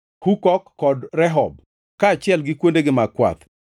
Hukok kod Rehob, kaachiel gi kuondegi mag kwath;